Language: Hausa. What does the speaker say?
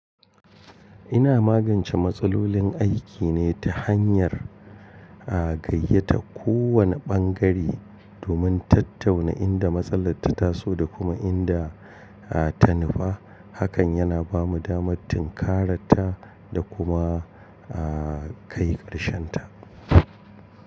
Ina magance matsalolin aiki ne ta hanyar gayyata kowane ɓangare domin tattauna inda matsala ta taso da kuma inda ta nufa. Hakan yana ba mu damar tinkaranta da kuma kai ƙarshen ta.